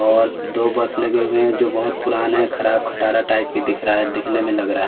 और दो बस लगे हुए हैं जो बहोत पुराने खराब खटारा टाइप के दिख रहा हैं दिखने में लग रहा हैं।